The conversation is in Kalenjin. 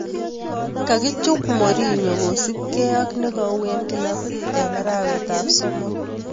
Kakichuup morinyoo kosup gei ak nekau eng kilapiit eng arawet ap somot